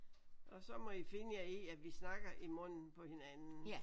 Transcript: Og så må I finde jer i at vi snakker i munden på hinanden